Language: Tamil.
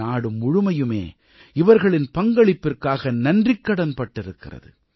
நாடு முழுமையுமே இவர்களின் பங்களிப்பிற்காக நன்றிக்கடன் பட்டிருக்கிறது